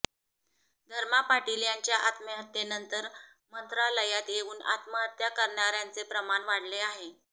धर्मा पाटील यांच्या आत्महत्येनंतर मंत्रालयात येऊन आत्महत्या करणाऱयांचे प्रमाण वाढले आहे